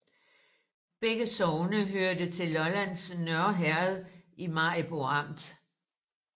Begge sogne hørte til Lollands Nørre Herred i Maribo Amt